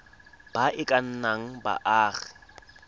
ba e ka nnang baagi